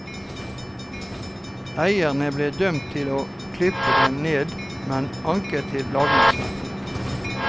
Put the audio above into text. Eieren ble dømt til å klippe den ned, men anker til lagmannsretten.